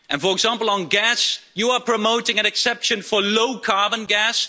For example, on gas, you are promoting an exception for low carbon gas.